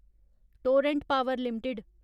Torrent Power limited